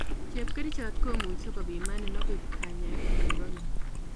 Chepkerichot komuche kopimanin ako koib kanyaet nikibo keny